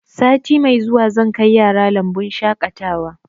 Sati mai zuwa zan kai yara lambun shaƙatawa